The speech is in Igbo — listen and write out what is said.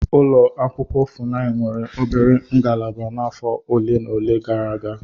Ụlọ akwụkwọ Funai nwere obere ngalaba n'afọ ole na ole gara aga.